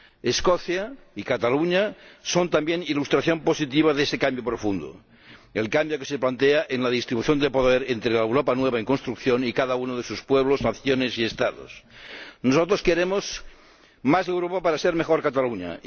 Escocia y Catalunya son también ilustración positiva de ese cambio profundo el cambio que se plantea en la distribución de poder entre la Europa nueva en construcción y cada uno de sus pueblos, naciones y Estados. Nosotros queremos más Europa para ser mejor Catalunya.